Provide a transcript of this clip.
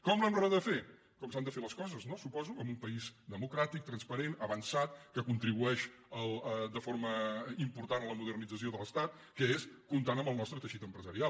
com l’hem de refer com s’han de fer les coses no suposo en un país democràtic transparent avançat que contribueix de forma important a la modernització de l’estat que és comptant amb el nostre teixit empresarial